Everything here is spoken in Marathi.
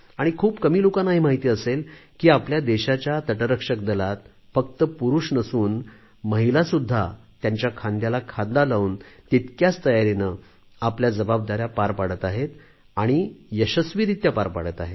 खूप कमी लोकांना हे माहीत असेल की आपल्या देशाच्या तटरक्षक दलात फक्त पुरुष नसून महिलासुद्धा त्यांच्या खांद्याला खांदा लावून तितक्याच तयारीने आपल्या जबाबदाऱ्या पार पाडत आहेत आणि यशस्वीरीत्या पार पाडत आहेत